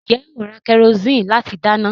Ǹjẹ́ ó ra kẹrosíìnì láti dáná?